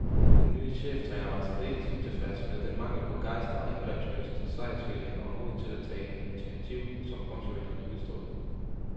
Den nye cheftræner var særdeles utilfreds med den mangel på gejst og angrebslyst, sejrsvilje og mod til at tage initiativ, som bronzevinderne udstrålede.